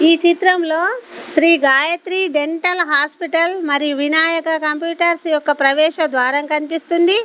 ఈ చిత్రంలో Shri Gayatri dental hospital మరియు వినాయక కంప్యూటర్స్ యొక్క ప్రవేశ ద్వారం కనిపిస్తుంది.